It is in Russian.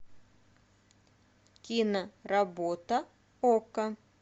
киноработа окко